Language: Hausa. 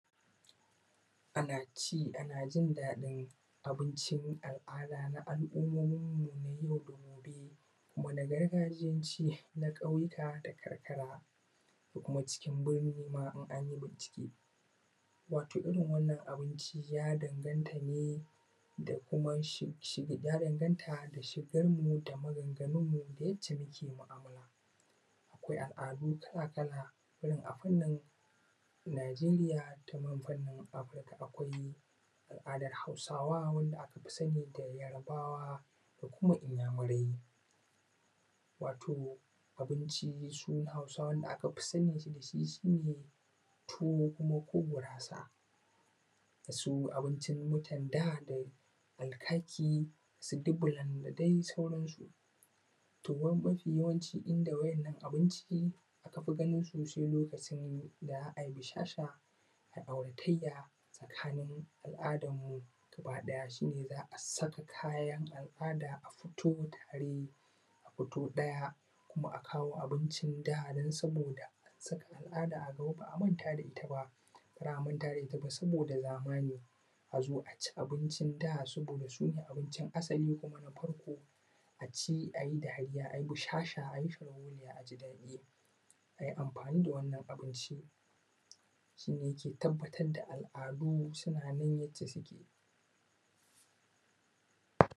ana ci ana jin daɗin al’ada na alumominmu na yau da kullum wanda gargajiyanci na ƙauyika da karkara kuma cikin birnima in an yi binciƙe wato irin wannan abinci ya dangantane da kuma shi ya dangantane da shigan mu da maganganunmu da yadda muke mu’amala, akwai al’adu kala kala irin abun nan najeriya da fannin, akwai al’ada na hausawa wanda akafi sani yarbawa da kuma inyamurai wato abincin su hausawan da aka fi sani da shi ne tuwo ko gurasa su abincin mutan da alkaki dubulan da dai sauransu. To mafi yawanci inda waɗannan abinci aka fi ganinsu se lokacin da za ai bisahsha ai auratayya tare in al’adanmu gabaɗaya shi ne za ai saka kayan al’ada a fito tare kuma a fito ɗaya kuma a kawo abinci da ba sa an san al’ada a gaba a manta da ita ba ba za a manta da ita ba, dole ne azo ma a ci abincin da ba sa su ne abincin asali kuma na farko a ci a yi dariya a yi bushahsha a yi sharholiya a ji daɗi a yi amfani da wannan abincin shi ne yake tabbatar da al’ada suna nan.